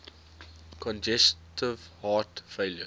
congestive heart failure